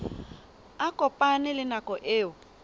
a kopane le nako eo